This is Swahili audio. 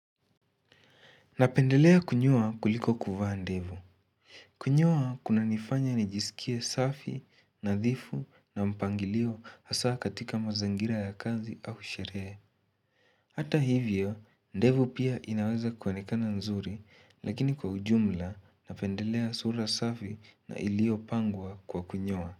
Napendelea kunyoa kuliko kuvaa ndevu. Kunyoa kunanifanya nijiskie safi, nadhifu na mpangilio hasa katika mazangira ya kazi au sheree. Hata hivyo, ndevu pia inaweza kuonekana nzuri, lakini kwa ujumla napendelea sura safi na iliyopangwa kwa kunyoa.